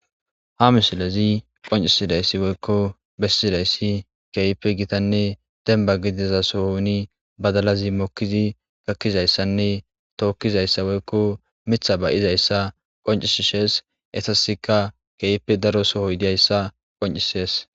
ha misilezi qoncisidayssi woykko bessidayssi kehipe gitanne demba gidiza sohuni badalazi mokkizi gakkizayssanne tookkizayssa woykko mitha bayizayssa qoncisishees esasika keype daro sohoy diyayssa qoncisees